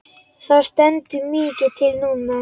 Það stendur mikið til núna.